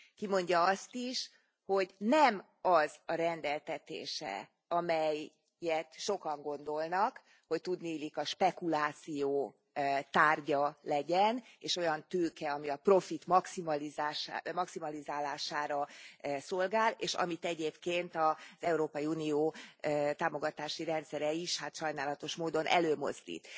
Kimondja azt is, hogy nem az a rendeltetése, amelyet sokan gondolnak, hogy tudniillik a spekuláció tárgya legyen, és olyan tőke, ami a profit maximalizálására szolgál, és amit egyébként az Európai Unió támogatási rendszere is hát sajnálatos módon előmozdít.